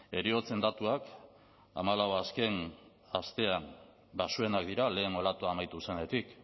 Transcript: heriotzen datuak hamalau azken astean baxuenak dira lehen olatua amaitu zenetik